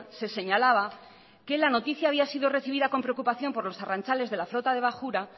se señalaba que la noticia había sido recibida con preocupación por los arrantzales de la flota de bajura